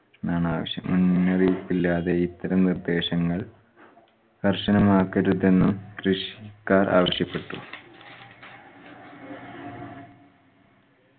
എന്നാണ് ആവശ്യം. മുന്നറിയിപ്പില്ലാതെ ഇത്തരം നിർദ്ദേശങ്ങൾ കർശനമാക്കരുതെന്നും കൃഷിക്കാർ ആവശ്യപ്പെട്ടു.